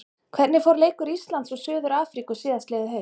Hvernig fór leikur Íslands og Suður-Afríku síðastliðið haust?